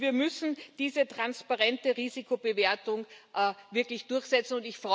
Wir müssen diese transparente Risikobewertung wirklich durchsetzen.